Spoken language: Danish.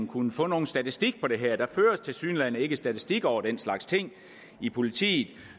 kunnet få nogen statistik på det her der føres tilsyneladende ikke statistik over den slags ting i politiet